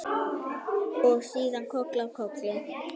Og síðan koll af kolli.